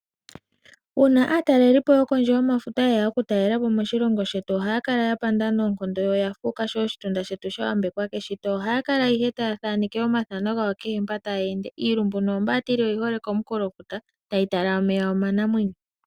Uuna aatalelipo yokondje yomafuta yeya okutalelapo moshilongo shetu ohaya kala ya nyanyukwa noonkondo, yo oya fuuka sho oshitunda shetu sha yambekwa keshito. Ohaya kala ihe taya thaneke omathano kehe mpoka taya ende, iilumbu noombaatili oyi hole komunkulofuta tayi tala omeya omanamwenyo.